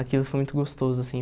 Aquilo foi muito gostoso, assim.